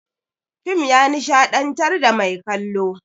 Fim ya nishaɗantar da mai kallo.